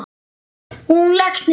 Og hún leggst niður.